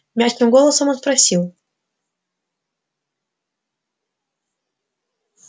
мягким голосом он спросил